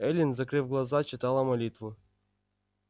эллин закрыв глаза читала молитву